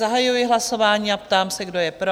Zahajuji hlasování a ptám se, kdo je pro?